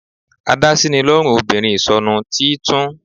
Adásínilọ́rùn obìnrin ìsọnu, tí í tún